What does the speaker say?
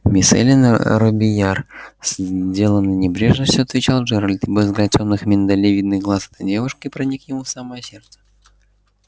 мисс эллин робийяр с деланной небрежностью отвечал джералд ибо взгляд тёмных миндалевидных глаз этой девушки проник ему в самое сердце